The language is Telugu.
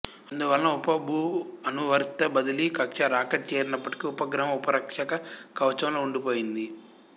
అందువలన ఉప భూఅనువర్తిత బదిలీ కక్ష్య రాకెట్ చేరినప్పటికి ఉపగ్రహం ఉష్ణరక్షక కవచంలో ఉండి పోయింది